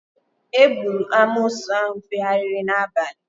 Egburu amoosu ahụ fegharịrị n'abalị